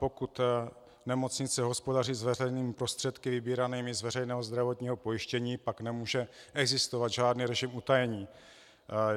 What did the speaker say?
Pokud nemocnice hospodaří s veřejnými prostředky vybíranými z veřejného zdravotního pojištění, pak nemůže existovat žádný režim utajení.